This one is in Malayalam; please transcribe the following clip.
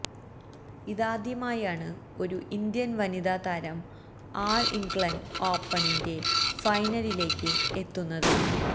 ഇതാദ്യമായാണ് ഒരു ഇന്ത്യൻ വനിതാ താരം ആൾ ഇംഗ്ളണ്ട് ഓപ്പണിന്റെ ഫൈനലിലേക്ക് എത്തുന്നത്